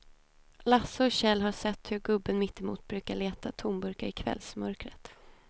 Lasse och Kjell har sett hur gubben mittemot brukar leta tomburkar i kvällsmörkret.